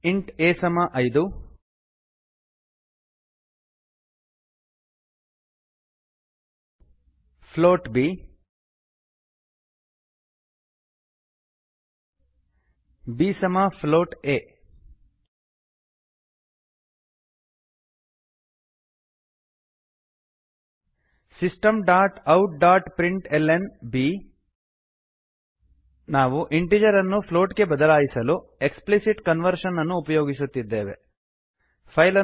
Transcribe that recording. int a 5 int a ಸಮ ಐದು float b float b b a b ಸಮ float a systemoutಪ್ರಿಂಟ್ಲ್ನ system dot out dot print l n b ನಾವು integer integer ಅನ್ನು float float ಗೆ ಬದಲಾಯಿಸಲು ಎಕ್ಸ್ಪ್ಲಿಸಿಟ್ ಕನ್ವರ್ಷನ್ ಎಕ್ಪ್ಲಿಸಿಟ್ ಕನ್ವರ್ಷನ್ ಅನ್ನು ಉಪಯೋಗಿಸುತ್ತಿದ್ದೇವೆ